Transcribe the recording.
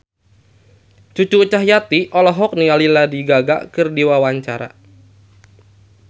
Cucu Cahyati olohok ningali Lady Gaga keur diwawancara